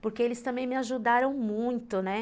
Porque eles também me ajudaram muito, né?